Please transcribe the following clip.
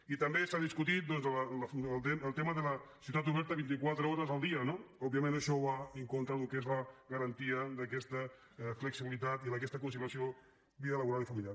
i també s’ha discutit doncs el tema de la ciutat oberta vint i quatre hores el dia no òbviament això va en contra del que és la garantia d’aquesta flexibilitat i d’aquesta conciliació de la vida laboral i familiar